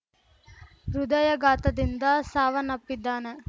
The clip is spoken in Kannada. ಹೃದಯಘಾತದಿಂದ ಸಾವನ್ನಪ್ಪಿದ್ದಾನೆ